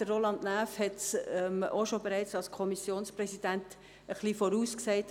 Grossrat Näf hat es bereits als Kommissionspräsident etwas vorhergesagt.